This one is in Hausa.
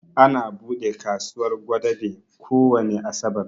Ana buɗe kasuwar Gwadabe kowani Asabar